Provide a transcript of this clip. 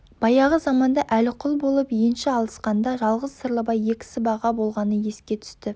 баяғы заманда әліқұл болып енші алысқанда жалғыз сырлыбай екі сыбаға болғаны еске түсті